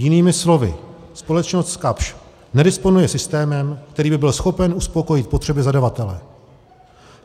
Jinými slovy, společnost Kapsch nedisponuje systémem, který by byl schopen uspokojit potřeby zadavatele.